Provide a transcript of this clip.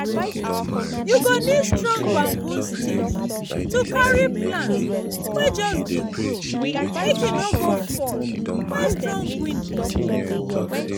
you go need strong bamboo stick to carry plant wey just dey grow make e no go fall when strong wind dey blow.